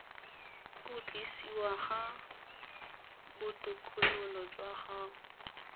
khutlisiwa ga botokololo jwa gago